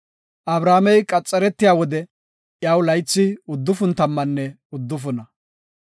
Abrahaamey qaxaretiya wode iyaw laythi uddufun tammanne uddufuna.